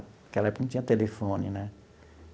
Naquela época, não tinha telefone, né?